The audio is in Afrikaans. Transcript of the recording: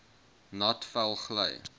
nat vel gly